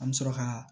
An bɛ sɔrɔ ka